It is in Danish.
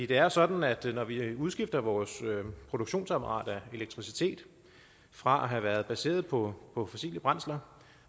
det er jo sådan at når vi udskifter vores produktionsapparat af elektricitet fra at have været baseret på på fossile brændsler